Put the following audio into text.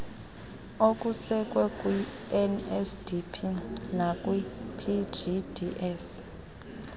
okusekwe kwinsdp nakwipgds